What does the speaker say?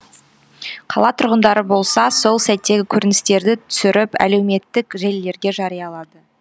қала тұрғындары болса сол сәттегі көріністерді түсіріп әлеуметтік желілерге жариялады